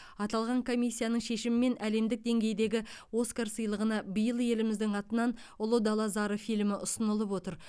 аталған комиссияның шешімімен әлемдік деңгейдегі оскар сыйлығына биыл еліміздің атынан ұлы дала зары фильмі ұсынылып отыр